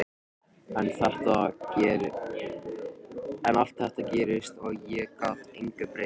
En allt þetta gerðist og ég gat engu breytt.